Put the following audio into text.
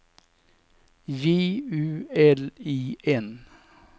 J U L I N